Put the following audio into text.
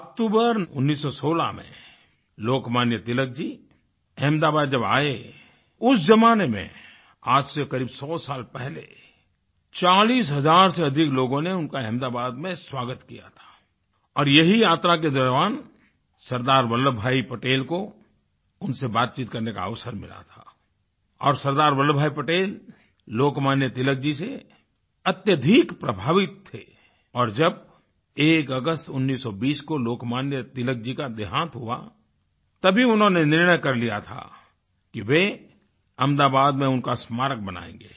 अक्टूबर 1916 में लोकमान्य तिलक जी अहमदाबाद जब आए उस ज़माने में आज से क़रीब सौ साल पहले 40000 से अधिक लोगों ने उनका अहमदाबाद में स्वागत किया था और यहीं यात्रा के दौरान सरदार वल्लभ भाई पटेल को उनसे बातचीत करने का अवसर मिला था और सरदार वल्लभ भाई पटेल लोकमान्य तिलक जी से अत्यधिक प्रभावित थे और जब 01 अगस्त 1920 को लोकमान्य तिलक जी का देहांत हुआ तभी उन्होंने निर्णय कर लिया था कि वे अहमदाबाद में उनका स्मारक बनाएंगे